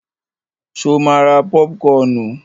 Ṣo ma ra pọ́púkọnù?